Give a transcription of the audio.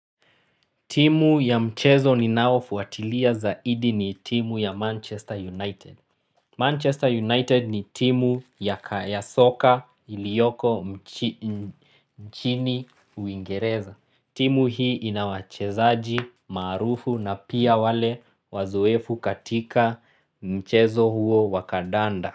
Timu ya mchezo ninao fuatilia zaidi ni timu ya Manchester United. Manchester United ni timu ya soka iliyoko nchini Uingereza. Timu hii ina wachezaji maarufu na pia wale wazoefu katika mchezo huo wa kadanda.